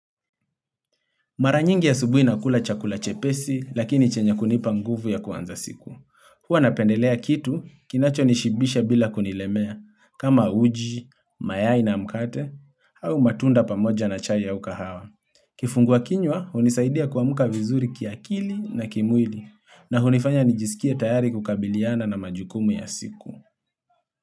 Mara nyingi asubuhi nakula chakula chepesi, lakini chenye kunipa nguvu ya kuanza siku. Huwa napendelea kitu, kinacho nishibisha bila kunilemea, kama uji, mayai na mkate, au matunda pamoja na chai ya au kahawa. Kifungua kinywa hunisaidia kuamka vizuri kiakili na kimwili, na hunifanya nijisikie tayari kukabiliana na majukumu ya siku.